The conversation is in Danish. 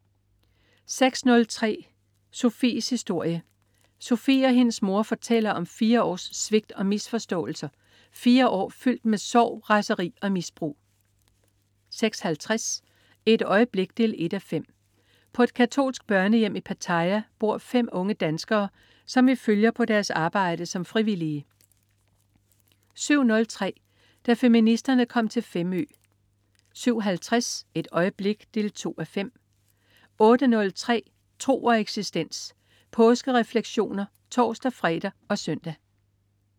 06.03 Sofies historie. Sofie og hendes mor fortæller om fire års svigt og misforståelser. Fire år fyldt med sorg, raseri og misbrug 06.50 Et øjeblik 1:5. På et katolsk børnehjem i Pattaya bor fem unge danskere, som vi følger på deres arbejde som frivillige 07.03 Da feministerne kom til Femø 07.50 Et øjeblik 2:5 08.03 Tro og eksistens. Påskerefleksioner (tors-fre og søn)